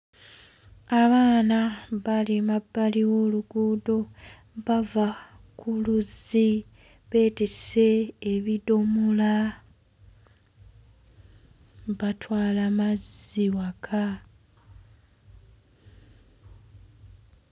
Abaana bali mabbali w'oluguudo bava ku luzzi beetisse ebidomola batwala mazzi waka.